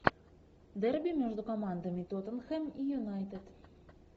дерби между командами тоттенхэм и юнайтед